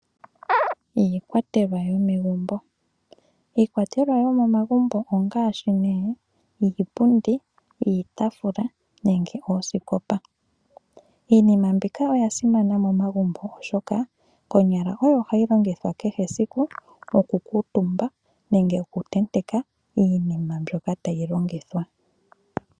Iikwatelwa yomegumbo, iikwatelwa yomomagumbo ongaashi: iipundi, iitaafula nenge oosikopa. Iinima mbika oya simana momagumbo, oshoka konyala oyo hayi longithwa kehe esiku okukuutumba nenge okutenteka iinima mbyoka tayi longithwa.